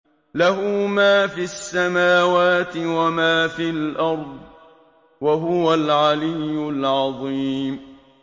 لَهُ مَا فِي السَّمَاوَاتِ وَمَا فِي الْأَرْضِ ۖ وَهُوَ الْعَلِيُّ الْعَظِيمُ